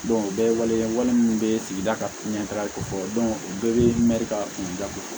o bɛɛ ye waleya wale min bɛ sigida ka ɲɛtaga ko fɔ o bɛɛ bɛ mɛri ka kunda ko fɔ